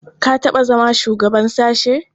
Ka taɓa zama shugaban sashe?